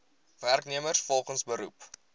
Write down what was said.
werknemers volgens beroep